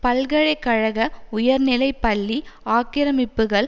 பல்கலை கழக உயர்நிலை பள்ளி ஆக்கிரமிப்புக்கள்